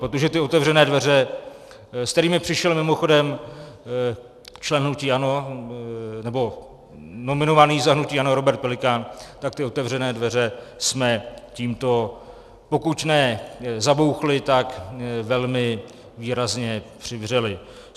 Protože ty otevřené dveře, s kterými přišel mimochodem člen hnutí ANO, nebo nominovaný za hnutí ANO, Robert Pelikán, tak ty otevřené dveře jsme tímto pokud ne zabouchli, tak velmi výrazně přivřeli.